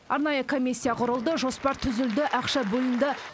арнайы комиссия құрылды жоспар түзілді ақша бөлінді